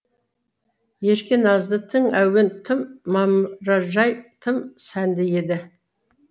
ерке назды тың әуен тым мамыражай тым сәнді еді